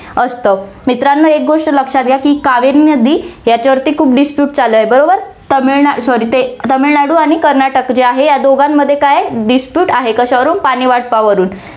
असतं. मित्रांनो, एक गोष्ट लक्षात घ्या, की कावेरी नदी याच्यावरती खूप dispute चालू आहे, बरोबर, तामिळना~ sorry ते~ तामिळनाडू आणि कर्नाटक जे आहे, या दोघांमध्ये काय आहे, dispute आहे, कशावरून, पाणी वाटपावरून